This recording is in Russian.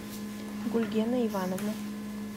гульгена ивановна